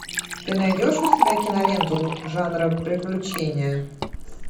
ты найдешь у себя киноленту жанра приключения